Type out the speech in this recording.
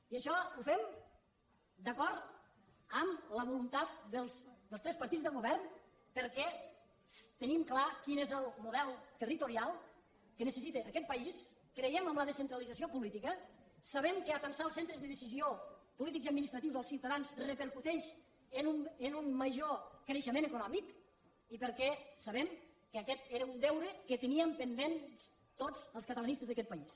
i això ho fem d’acord amb la voluntat dels tres partits del govern perquè tenim clar quin és el model territorial que necessita aquest país creiem en la descentralització política sabem que atansar els centres de decisió polítics i administratius als ciutadans repercuteix en un major creixement econòmic i perquè sabem que aquest era un deure que teníem pendent tots els catalanistes d’aquest país